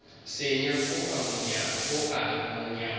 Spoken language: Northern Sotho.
senya o a mo nyala